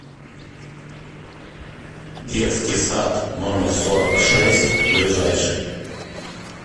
детский сад номер сорок шесть ближайший